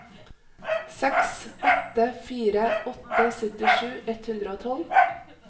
seks åtte fire åtte syttisju ett hundre og tolv